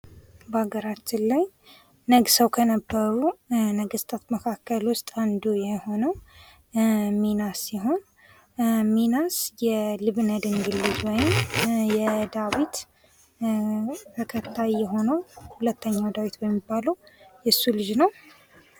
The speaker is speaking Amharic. በአገራችን ላይ ነግሰዉ ከነበሩ ነገስታት መካከል ዉስጥ አንዱ የሆነዉ ሚናስ ሲሆን ሚናስ የንብለ ድንግል ወይም የዳዊት ተከታይ የሆነዉ ሁለተኛዉ ዳዊት የሆነዉ የሱ ልጅ ነዉ።